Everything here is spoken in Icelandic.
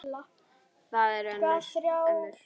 Það eru ömmur.